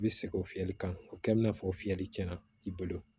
I bɛ segin o fiyɛli kan o kɛ bɛ n'a fɔ fiyɛli tiɲɛna i bolo